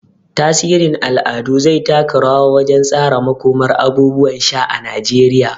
Tasirin al'adu zai taka rawa wajen tsara makomar abubuwan sha na Najeriya.